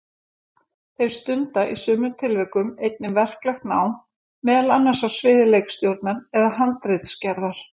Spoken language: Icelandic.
Þeir stunda í sumum tilvikum einnig verklegt nám, meðal annars á sviði leikstjórnar eða handritsgerðar.